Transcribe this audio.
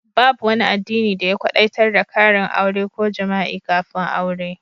Babu wani addini da ya kwadaitar da karin aure ko jima'i kafin aure.